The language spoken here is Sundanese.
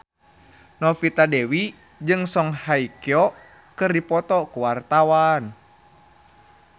Novita Dewi jeung Song Hye Kyo keur dipoto ku wartawan